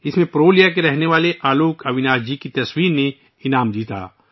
اس میں پرولیا کے رہنے والے آلوک اویناش جی کی تصویر نے ایوارڈ جیتا ہے